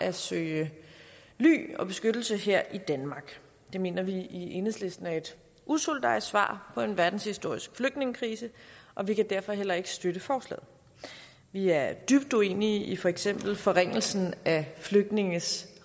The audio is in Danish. at søge ly og beskyttelse her i danmark det mener vi i enhedslisten er et usolidarisk svar på en verdenshistorisk flygtningekrise og vi kan derfor heller ikke støtte forslaget vi er dybt uenige i for eksempel forringelsen af flygtninges